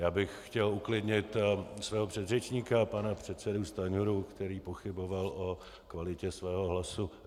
Já bych chtěl uklidnit svého předřečníka pana předsedu Stanjuru, který pochyboval o kvalitě svého hlasu.